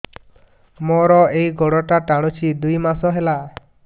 ମୋର ଏଇ ଗୋଡ଼ଟା ଟାଣୁଛି ଦୁଇ ମାସ ହେଲା